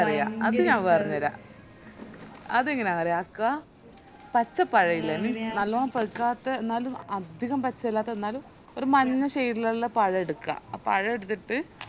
അറിയ അത് ഞാൻ പറഞ്ഞേര അതെങ്ങനാന്നറിയോ ആക്ക പച്ച പഴയില്ലെ means നല്ലോണം പൈക്കാതെ എന്നാലും അതികം പച്ചയല്ലാത്തെ എന്നാലും ഒര് മഞ്ഞ shade ഇൽ ഇള്ള പഴെട്ക്ക ആ പഴേടത്തിട്ട്